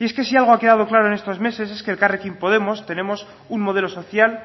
y es que si algo ha quedado claro en estos meses es que elkarrekin podemos tenemos un modelo social